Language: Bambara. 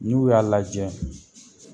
Ni u y'a lajɛ